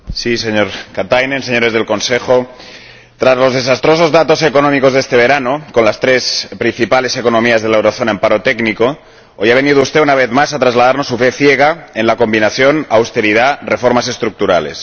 Señor Presidente, señor Katainen, señores del Consejo, tras los desastrosos datos económicos de este verano, con las tres principales economías de la zona del euro en paro técnico, hoy ha venido usted, una vez más, a trasladarnos su fe ciega en la combinación de austeridad y reformas estructurales.